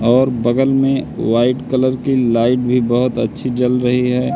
और बगल में व्हाइट कलर की लाइट भी बहोत अच्छी जल रही है।